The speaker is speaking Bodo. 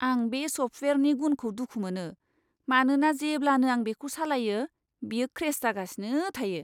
आं बे सफ्टवेयारनि गुनखौ दुखु मोनो, मानोना जेब्लानो आं बेखौ सालायो, बेयो क्रेश जागासिनो थायो।